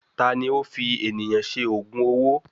Tani ó fi ènìyàn ṣe ògùn owó?